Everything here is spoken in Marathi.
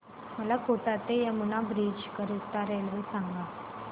मला कोटा ते यमुना ब्रिज करीता रेल्वे सांगा